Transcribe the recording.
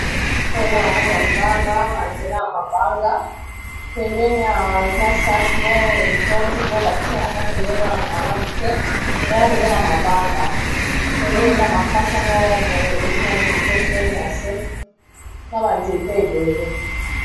Awa eza na kati ya zamba ba nzela ya mabanga pembeni awa eza sac moko etondi biloko batie na kati ezomonana malamu te eya lokola mabanga pembeni eza makasa moko boye ewuti na nzete ekweyi na se na ba nzete ebele.